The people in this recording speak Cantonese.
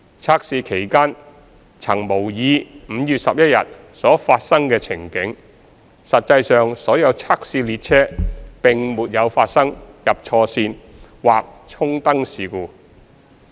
測試期間曾模擬5月11日所發生的情境，實際上所有測試列車並沒有發生"入錯線"或"衝燈"事故。